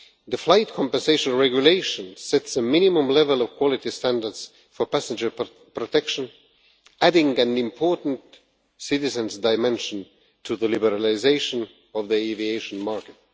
The Flight Compensation Regulation sets a minimum level of quality standards for passenger protection, adding an important citizens' dimension to the liberalisation of the aviation market.